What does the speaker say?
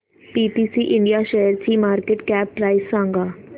PTC India शेअरची market cap price सांगा